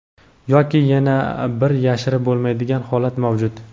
Yoki yana bir yashirib bo‘lmaydigan holat mavjud.